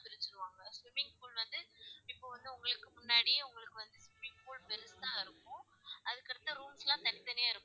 Swimming pool வந்து இப்போ வந்து உங்களுக்கு முன்னாடி உங்களுக்கு வந்து swimming pool பெருசா இருக்கும் அதுக்கு அடுத்த rooms லா தனி தனியா இருக்கும்.